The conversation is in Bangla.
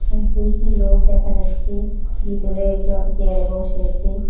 আর দুইটি লোক দেখা যাচ্ছে ভিতরে একজন চেয়ারে বসে আচে।